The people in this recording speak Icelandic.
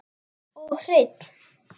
Og hreinn.